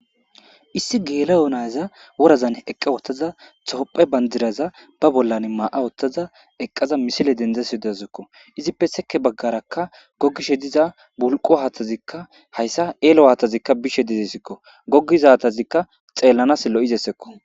issi geelayo nayza worazan eqqa wottaza tophe bandiraza ba bollan maa7a ottaza eqqaza misile dendzasodazzukko izippe seke baggarakka gogishe diza bulqo haathtazikka hayssa eelo haattazikka bishe dedesikko gogizatazikka xeellanas lo7izessekko